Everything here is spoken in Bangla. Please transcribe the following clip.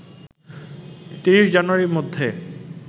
২৩ জানুয়ারির মধ্যে